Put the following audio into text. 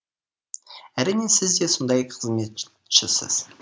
әрине сіз де сондай қызметшісіз